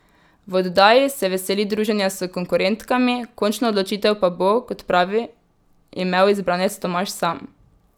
V oddaji se veseli druženja s konkurentkami, končno odločitev pa bo, kot pravi, imel izbranec Tomaž sam.